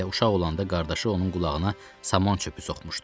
Elə uşaq olanda qardaşı onun qulağına saman çöpü soxmuşdu.